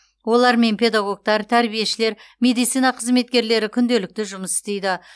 олармен педагогтар тәрбиешілер медицина қызметкерлері күнделікті жұмыс істейді